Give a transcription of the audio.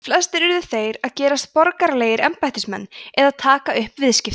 flestir urðu þeir að gerast borgaralegir embættismenn eða taka upp viðskipti